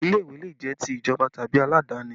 Ilé ìwé le jẹ́ ti ìjọba tàbí aladani